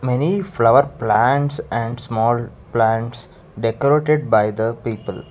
many flower plants and small plants decorated by the people.